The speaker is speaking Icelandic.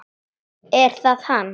Er það hann?